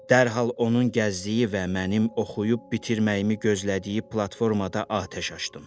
Dərhal onun gəzdiyi və mənim oxuyub bitirməyimi gözlədiyi platformada atəş açdım.